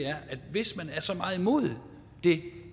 hvis man er så meget imod det